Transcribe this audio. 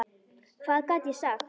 Hvað gat ég sagt?